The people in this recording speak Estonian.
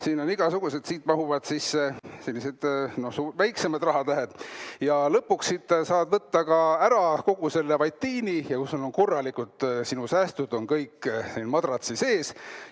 Siin on igasuguseid avasid, siit mahuvad sisse sellised väiksemad rahatähed ja lõpuks siit saab võtta ka ära kogu selle vatiini ja sul on korralikult sinu säästud kõik madratsi sees.